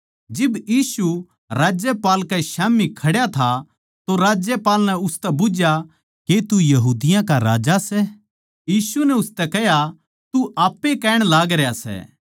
जिब यीशु राज्यपाल कै स्याम्ही खड्या था तो राज्यपाल नै उसतै बुझ्झया के तू यहूदिया का राजा सै यीशु नै उसतै कह्या तू आप ए कहण लागरया सै